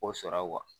O sɔrɔ